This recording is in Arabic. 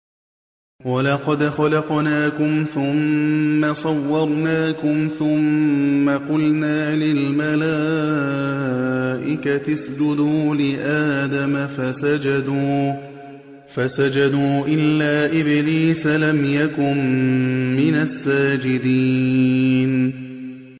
وَلَقَدْ خَلَقْنَاكُمْ ثُمَّ صَوَّرْنَاكُمْ ثُمَّ قُلْنَا لِلْمَلَائِكَةِ اسْجُدُوا لِآدَمَ فَسَجَدُوا إِلَّا إِبْلِيسَ لَمْ يَكُن مِّنَ السَّاجِدِينَ